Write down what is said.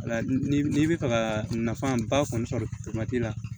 Wala ni n'i bɛ fɛ ka nafa ba kɔni sɔrɔ la